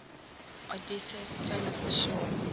odysseus swims ashore